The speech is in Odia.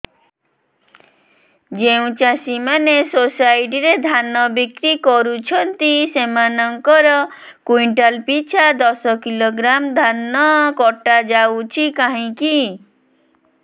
ଯେଉଁ ଚାଷୀ ମାନେ ସୋସାଇଟି ରେ ଧାନ ବିକ୍ରି କରୁଛନ୍ତି ସେମାନଙ୍କର କୁଇଣ୍ଟାଲ ପିଛା ଦଶ କିଲୋଗ୍ରାମ ଧାନ କଟା ଯାଉଛି କାହିଁକି